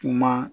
Kuma